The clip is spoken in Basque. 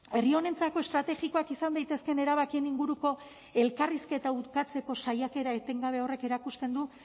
herri honentzako estrategikoak izan daitezkeen erabakien inguruko elkarrizketa urtatzeko saiakera etengabe horrek erakusten du